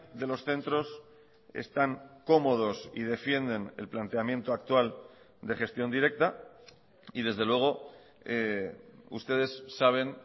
de los centros están cómodos y defienden el planteamiento actual de gestión directa y desde luego ustedes saben